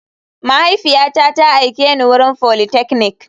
Mahaifiyata ta aike ni wurin politechnic.